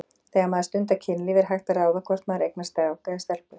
Þegar maður stundar kynlíf er hægt að ráða hvort maður eignast strák eða stelpu?